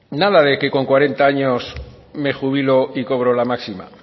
nada de que con cuarenta años me jubilo y cobro la máxima